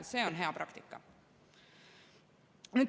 See on hea praktika.